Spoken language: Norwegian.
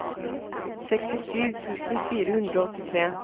sekstisju tusen fire hundre og åttitre